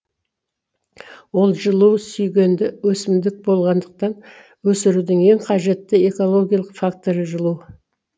ол жылу сүйгенді өсімдік болғандықтан өсірудің ең қажетті экологиялық факторы жылу